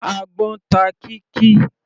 Àgbọ́n ta Kikky.